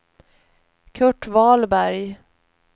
Kurt Wahlberg